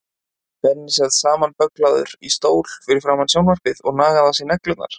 Benni sat samanbögglaður í stól fyrir framan sjónvarpið og nagaði á sér neglurnar.